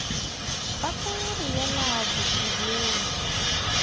ba tla re yela batsebing